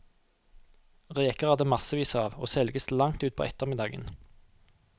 Reker er det massevis av, og selges til langt utpå ettermiddagen.